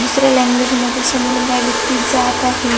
दुसऱ्या लँग्वेज मध्ये समोरुन काही व्यक्ती जात आहे.